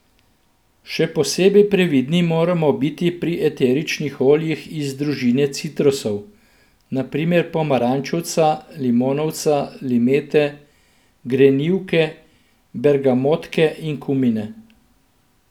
Še posebej previdni moramo biti pri eteričnih oljih iz družine citrusov, na primer pomarančevca, limonovca, limete, grenivke, bergamotke in kumine.